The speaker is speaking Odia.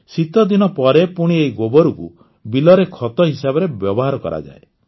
ଶୀତଦିନ ପରେ ପୁଣି ଏଇ ଗୋବରକୁ ବିଲରେ ଖତ ହିସାବରେ ବ୍ୟବହାର କରାଯାଏ